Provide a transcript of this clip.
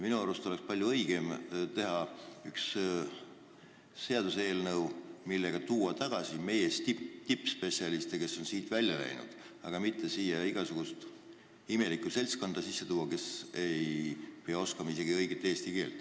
Minu arust oleks palju õigem teha üks seaduseelnõu, millega tuua tagasi meie tippspetsialistid, kes on siit ära läinud, aga mitte siia igasugust imelikku seltskonda sisse tuua, kes ei oska isegi õiget eesti keelt.